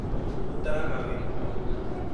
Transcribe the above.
Uttara Kaveri